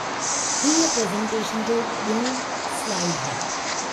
हीअ प्रेज़ेन्टेशन जो ॿियों स्लॉईड हो।